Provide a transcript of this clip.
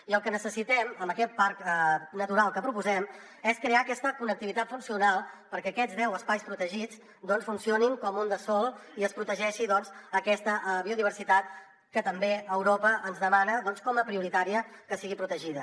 i el que necessitem en aquest parc natural que proposem és crear aquesta connectivitat funcional perquè aquests deu espais protegits doncs funcionin com un de sol i es protegeixi aquesta biodiversitat que també europa ens demana com a prioritari que sigui protegida